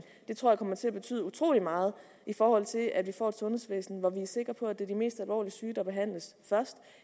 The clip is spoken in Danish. det tror jeg kommer til at betyde utrolig meget i forhold til at vi får et sundhedsvæsen hvor vi er sikre på at det er de mest alvorligt syge der behandles først